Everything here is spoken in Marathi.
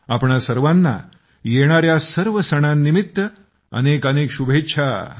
तुम्हा सर्वांना येणाऱ्या सर्व सणांनिमित्त अनेकानेक शुभेच्छा